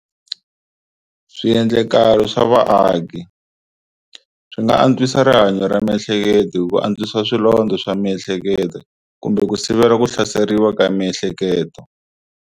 Swiendlakalo swa vaaki swi nga antswisa rihanyo ra miehleketo hi ku antswisa swilondza swa miehleketo kumbe ku sivela ku hlaseriwa ka miehleketo.